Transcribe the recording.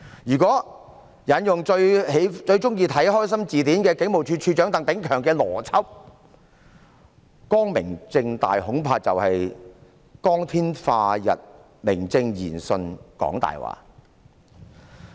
如果引用最喜歡看"開心字典"的警務處處長鄧炳強的邏輯，"光明正大"恐怕就是在光天化日之下，明正言順講大話。